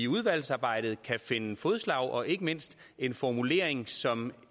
udvalgsarbejdet kan finde fælles fodslag og ikke mindst en formulering som